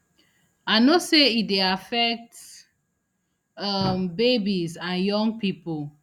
i know say e dey affect um babies and young pipo